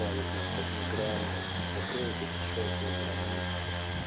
нас от мигрантов закроет эти чертовы границы